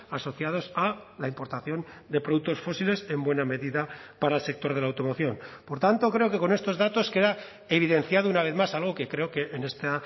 asociados a la importación de productos fósiles en buena medida para el sector de la automoción por tanto creo que con estos datos queda evidenciado una vez más algo que creo que en esta